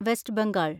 west Bengal